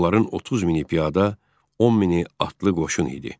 Onların 30 mini piyada, 10 mini atlı qoşun idi.